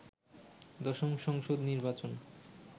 দশম সংসদ নির্বাচন